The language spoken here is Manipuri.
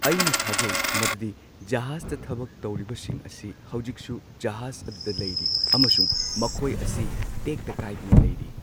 ꯑꯩꯅ ꯊꯥꯖꯩ ꯃꯗꯨꯗꯤ ꯖꯍꯥꯖꯇ ꯊꯕꯛ ꯇꯧꯔꯤꯕꯁꯤꯡ ꯑꯁꯤ ꯍꯧꯖꯤꯛꯁꯨ ꯖꯍꯥꯖ ꯑꯗꯨꯗ ꯂꯩꯔꯤ ꯑꯃꯁꯨꯡ ꯃꯈꯣꯏ ꯑꯁꯤ ꯇꯦꯛꯇ ꯀꯥꯢꯗꯅ ꯂꯩꯔꯤ꯫